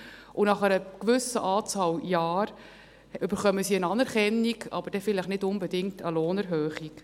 Und nach einer gewissen Anzahl Jahren erhalten sie eine Anerkennung, aber vielleicht dann nicht unbedingt eine Lohnerhöhung.